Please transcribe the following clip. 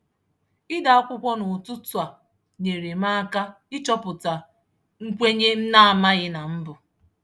Ide akwụkwọ n’ụtụtụ a nyere m aka ịchọpụta nkwenye m na-amaghị na m bu.